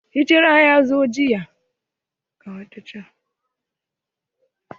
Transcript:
Rejistran ya zo jiya.